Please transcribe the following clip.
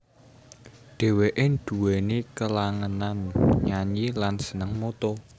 Dheweke duweni kelangenan nyanyi lan seneng moto